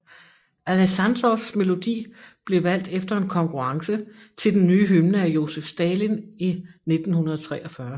Aleksandrovs melodi blev valgt efter en konkurrence til den nye hymne af Josef Stalin i 1943